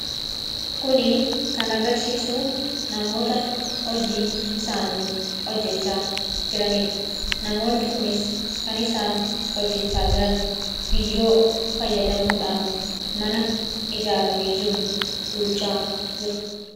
kuni kan agarsiisu namoota hojii isaanii hojjechaa jiraniidha; namoonni kunis kan isaan hojjechaa jiran biyyoo fayyadamuudhaan mana ijaaramee jiru duuchaa jiru.